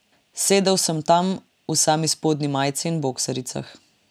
Sedel sem tam v sami spodnji majici in boksaricah.